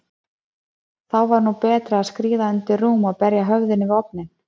Þá var nú betra að skríða undir rúm og berja höfðinu við ofninn.